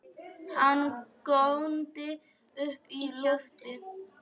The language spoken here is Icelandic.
Hann góndi upp í loftið!